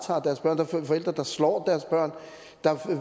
på forældre der slår deres børn der er